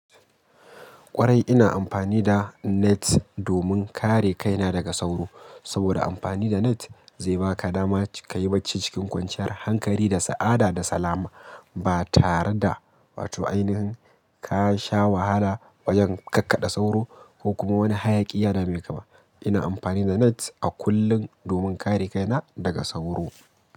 Kwarai ina amfani da net domin kare kaina daga sauro. Saboda amfani da net zai baka dama ka yi bacci cikin kwanciyar hankali da sa'ada da salama ba tare da wato ainihin ka sha wahala wajen kakkaɗa sauro ko kuma wani hayaƙi yadamaikaba. Ina amfani da net a kullum domin kare kaina daga sauro.